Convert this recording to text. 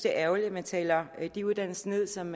er ærgerligt at man taler de uddannelser ned som